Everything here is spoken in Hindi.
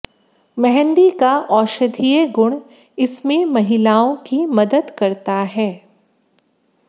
मेंहदी का औषधीय गुण इसमें महिलाओं की मदद करता है